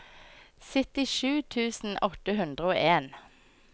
syttisju tusen åtte hundre og en